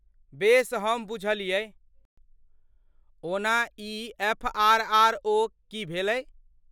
बेस हम बुझलियै। ओना ई एफ.आर.आर.ओ. की भेलै?